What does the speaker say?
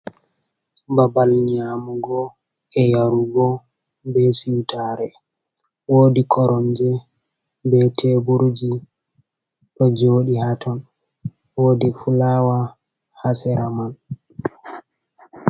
Babal nyaamugo, e yarugo, be siwtaare. woodi koromje be teburji ɗo jooɗi haaton, woodi fulaawa haa sera man.